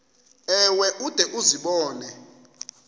ewe ude uzibone